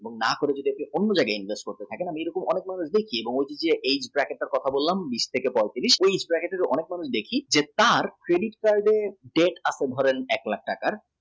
না করে আপনি যদি অন্য জয়গায় invest নেই এই bracket তার কথা বললাম উনিশ থেকে পইতিরিশ এই bracket এর দেখি যে তার credit card এর debt আপনি ধরেন এক লাখ